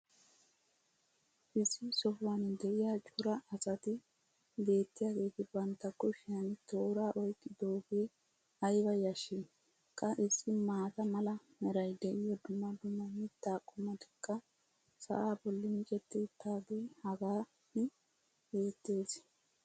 issi sohuwan diya cora asati beetiyaageeti bantta kushiyan tooraa oyqidoogee ayba yashii! qa issi maata mala meray diyo dumma dumma mitaa qommotikka sa"aa boli micetti utaagee hagan beetees.